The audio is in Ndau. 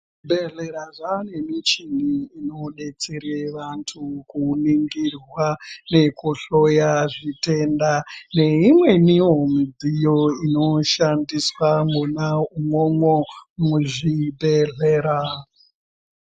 Zvibhedhlera zvane michini inobetsere vantu kuningirwa nekuhloya zvitenda. Neimwenivo midziyo inoshandiswa mwona imwomwo muzvibhedhlera.